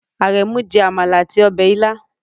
Aremu jẹ amala ati ọbẹ ila